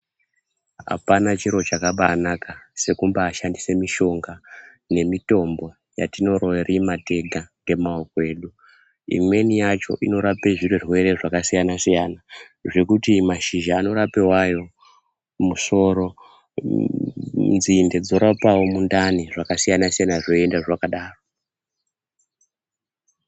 Apana chiro chakabanaka sekubashandise mishonga nemitombo yatinorima tega ngeamaoko edu imweni yacho inorape zvirwere zvakasiyana siyana zvekuti mashizha anorape wayo musoro, nzinde dzorapawo mundani zvakasiyana siyana zvoenda zvakadaro.